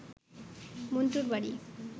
মণ্টুর বাড়ি